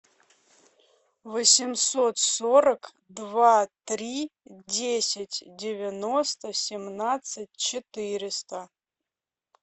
восемьсот сорок два три десять девяносто семнадцать четыреста